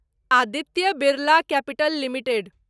Aditya Birla capital limited